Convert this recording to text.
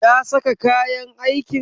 Ya saka kayan aikin?